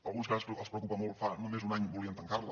alguns que ara els preocupa molt fa només un any volien tancar la